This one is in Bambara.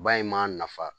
Ba in m'a nafa